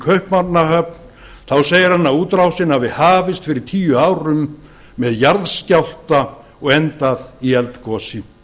kaupmannahöfn segir hann að útrásin hafi hafist fyrir tíu árum með jarðskjálfta og endað í eldgosi